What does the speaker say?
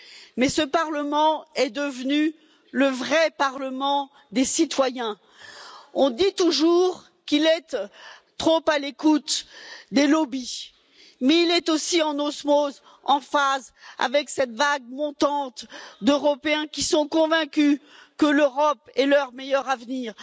Mais ce Parlement est devenu le vrai Parlement des citoyens. On dit toujours qu'il est trop à l'écoute des lobbies, mais il est aussi en osmose, en phase avec cette vague montante d'Européens qui sont convaincus que l'Europe est leur meilleur avenir.